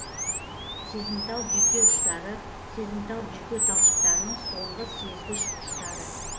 сезімтал жүйке ұштары сезімтал жүйке талшықтарының соңғы сезгіш ұштары